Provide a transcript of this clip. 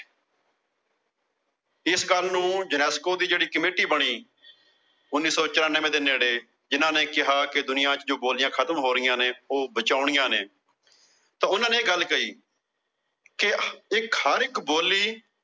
ਇਸ ਕੰਮ ਨੂੰ ਜਨੈਸਕੋ ਦੀ ਜਿਹੜੀ ਕਮੇਟੀ ਬਣੀ ਉਨੀ ਸੌ ਚੁਰਾਨਵੇਂ ਦੇ ਨੇੜੇ ਜਿਨ੍ਹਾਂ ਨੇ ਕਿਹਾ ਕਿ ਦੁਨੀਆਂ ਚੋਂ ਬੋਲੀਆਂ ਖਤਮ ਹੋ ਰਹੀਆਂ ਨੇ, ਉਹ ਬਚਾਉਣੀਆਂ ਨੇ, ਤਾਂ ਉਨ੍ਹਾਂ ਨੇ ਇਹ ਗੱਲ ਕਹੀ। ਕਿ ਇੱਕ ਹਰ ਇੱਕ ਬੋਲੀ